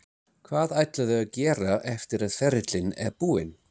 Hvað ætlarðu að gera eftir að ferilinn er búinn?